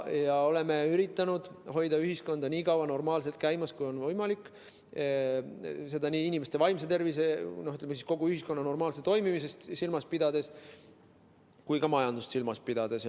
Me oleme üritanud hoida ühiskonda nii kaua normaalselt käimas, kui see on olnud võimalik, seda nii inimeste vaimset tervist, kogu ühiskonna normaalset toimimist kui ka majandust silmas pidades.